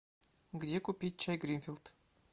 где купить чай гринфилд